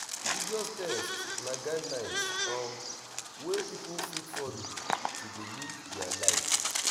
religious text na guidelines um wey pipo fit follow to de live their live